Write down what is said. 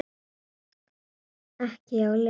Ekki hjá Lenu